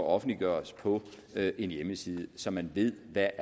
offentliggøres på en hjemmeside så man ved hvad